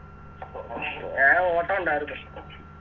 ഞാ ഒട്ടൊണ്ടാരുന്ന്